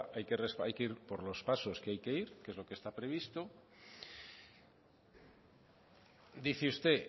hay que ir por los pasos que hay que ir que es lo que está previsto dice usted